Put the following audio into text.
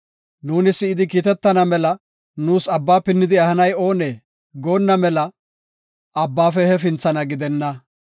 “Nuuni si7idi kiitetana mela nuus abba pinnidi ehanay oonee?” goonna mela abbaafe hefinthana gidenna.